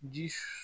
Ji